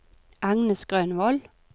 Agnes Grønvold